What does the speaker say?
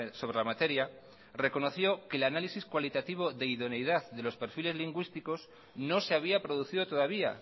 sobre la materia reconoció que el análisis cualitativo de idoneidad de los perfiles lingüísticos no se había producido todavía